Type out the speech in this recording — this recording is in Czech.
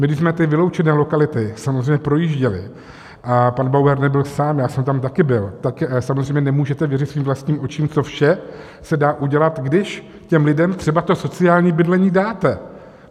My když jsme ty vyloučené lokality samozřejmě projížděli, a pan Bauer nebyl sám, já jsem tam taky byl, tak samozřejmě nemůžete věřit svým vlastním očím, co vše se dá udělat, když těm lidem třeba to sociální bydlení dáte.